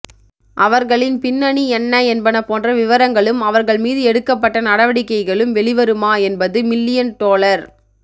அவர்களின் பின்னணி என்ன என்பன போன்ற விவரங்களும் அவர்கள் மீது எடுக்கப்பட்ட நடவடிக்கைகளும் வெளிவருமா என்பது மில்லியன் டொலர்